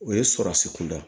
O ye sɔrɔsi kunda